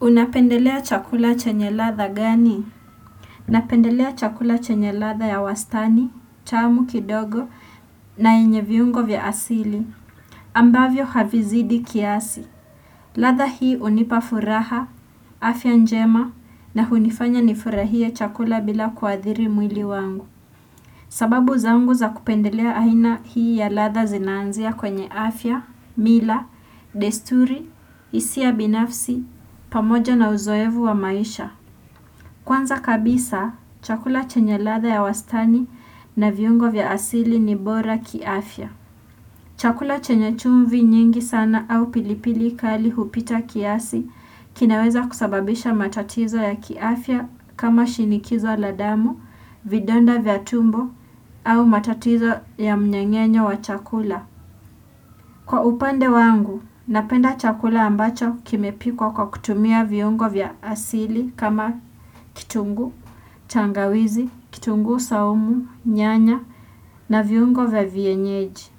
Unapendelea chakula chenye ladha gani? Unapendelea chakula chenye ladha ya wastani, tamu kidogo na yenye viungo vya asili. Ambavyo havizidi kiasi. Ladha hii hunipa furaha, afya njema na hunifanya nifurahie chakula bila kuathiri mwili wangu. Sababu zangu za kupendelea aina hii ya ladha zinaanzia kwenye afya, mila, desturi, hisia binafsi, pamoja na uzoevu wa maisha. Kwanza kabisa, chakula chenye ladha ya wastani na viungo vya asili ni bora kiafya. Chakula chenye chumvi nyingi sana au pilipili kali hupita kiasi kinaweza kusababisha matatizo ya kiafya kama shinikizo la damu, vidonda vya tumbo au matatizo ya mnyengenye wa chakula. Kwa upande wangu, napenda chakula ambacho kimepikwa kwa kutumia viungo vya asili kama kitunguu, tangawizi, kitunguu saumu, nyanya na viungo vya vienyeji.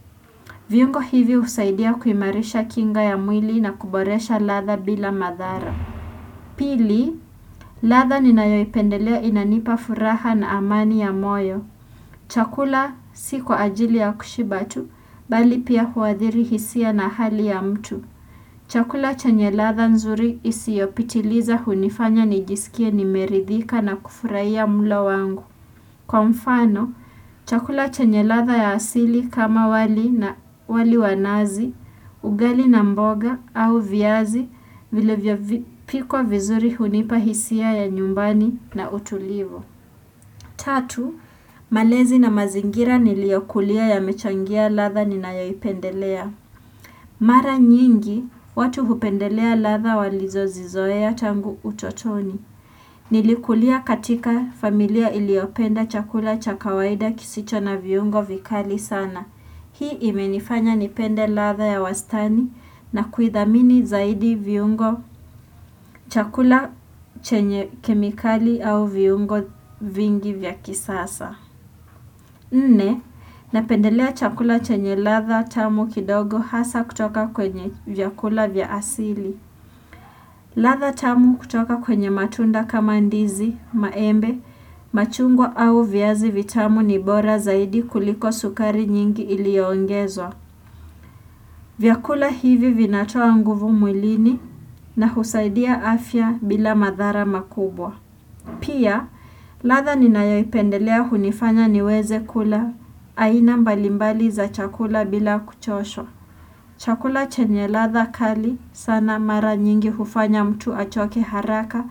Viungo hivi husaidia kuimarisha kinga ya mwili na kuboresha ladha bila madhara. Pili, ladha ninayoipendelea inanipa furaha na amani ya moyo. Chakula si kwa ajili ya kushiba tu, bali pia huathiri hisia na hali ya mtu. Chakula chenye ladha nzuri isiyopitiliza hunifanya nijisikie nimeridhika na kufurahia mlo wangu. Kwa mfano, chakula chenye ladha ya asili kama wali na wali wa nazi, ugali na mboga au viazi vile vimepikwa vizuri hunipa hisia ya nyumbani na utulivu. Tatu, malezi na mazingira niliyakulia yamechangia ladha ninayoipendelea. Mara nyingi, watu hupendelea ladha walizozizoea tangu utotoni. Nilikulia katika familia iliyopenda chakula cha kawaida kisicho na viungo vikali sana. Hii imenifanya nipende ladha ya wastani na kuithamini zaidi viungo chakula chenye kemikali au viungo vingi vya kisasa. Nne, napendelea chakula chenye ladha tamu kidogo hasa kutoka kwenye vyakula vya asili. Ladha tamu kutoka kwenye matunda kama ndizi, maembe, machungwa au viazi vitamu ni bora zaidi kuliko sukari nyingi iliyoongezwa. Vyakula hivi vinatoa nguvu mwilini na husaidia afya bila madhara makubwa. Pia, ladha ninayoipendelea hunifanya niweze kula aina mbalimbali za chakula bila kuchoshwa. Chakula chenye ladha kali sana mara nyingi hufanya mtu achoke haraka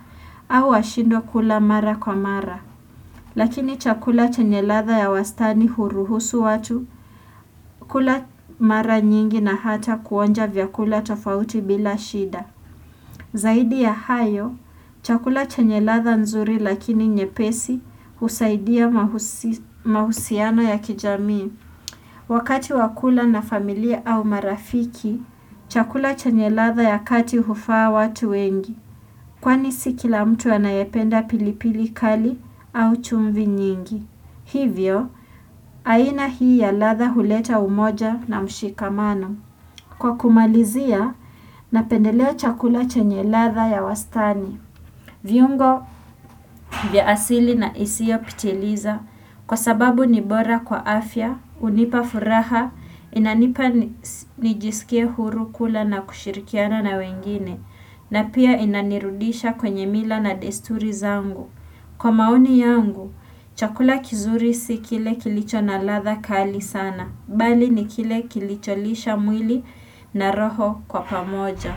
au ashindwe kula mara kwa mara. Lakini chakula chenye ladha ya wastani huruhusu watu kula mara nyingi na hata kuonja vyakula tofauti bila shida. Zaidi ya hayo, chakula chenye ladha nzuri lakini nyepesi husaidia mahusiano ya kijamii. Wakati wakula na familia au marafiki, chakula chenye ladha ya kati hufaa watu wengi. Kwani si kila mtu anayependa pilipili kali au chumvi nyingi. Hivyo, aina hii ya ladha huleta umoja na mshikamano. Kwa kumalizia, napendelea chakula chenye ladha ya wastani. Viungo, vya asili na isiyopitiliza. Kwa sababu ni bora kwa afya, hunipa furaha, inanipa nijisikie huru kula na kushirikiana na wengine. Na pia inanirudisha kwenye mila na desturi zangu. Kwa maoni yangu, chakula kizuri si kile kilicho na ladha kali sana, bali ni kile kilicholisha mwili na roho kwa pamoja.